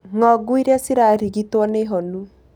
Ng'ongu iria cirarigitirwo nĩ honu